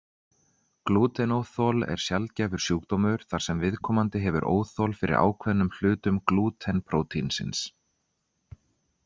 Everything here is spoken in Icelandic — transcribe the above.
Glútenóþol er sjaldgæfur sjúkdómur þar sem viðkomandi hefur óþol fyrir ákveðnum hlutum glúten prótínsins.